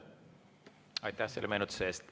Aitäh selle meenutuse eest!